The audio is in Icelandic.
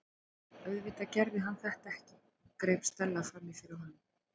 Auðvitað gerði hann þetta ekki- greip Stella fram í fyrir honum.